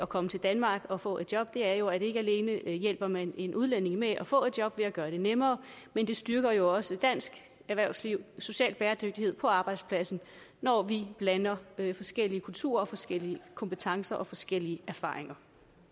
komme til danmark og få et job er jo at ikke alene hjælper man en udlænding med at få et job ved at gøre det nemmere men det styrker jo også dansk erhvervsliv og social bæredygtighed på arbejdspladsen når vi blander forskellige kulturer og forskellige kompetencer og forskellige erfaringer